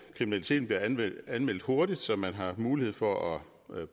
kriminaliteten bliver anmeldt anmeldt hurtigt så man har mulighed for at